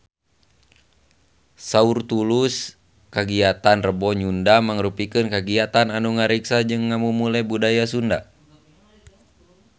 Saur Tulus kagiatan Rebo Nyunda mangrupikeun kagiatan anu ngariksa jeung ngamumule budaya Sunda